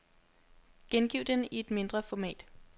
Gengiv den i et mindre format.